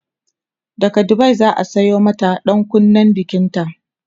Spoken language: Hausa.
daga Dubai zaa Sayo mata ɗankunnen bikinta